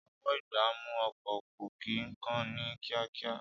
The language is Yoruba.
Ọwọ́-ìgbámú ọkọ̀ kò kí ń kán ní kíákíá